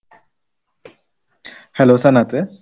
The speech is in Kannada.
Speaker 1